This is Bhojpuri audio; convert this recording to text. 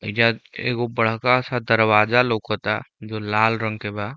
ऐईजा एगो बड़का सा दरवाज़ा लउकता जो लाल रंग के बा।